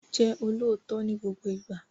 Jẹ́ olóòtọ́ ni gbogbo ìgbà!